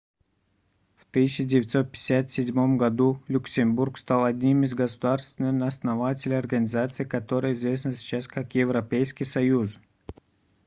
в 1957 году люксембург стал одним из государств-основателей организации которая известна сейчас как европейский союз